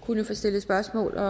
kunne få stillet spørgsmål og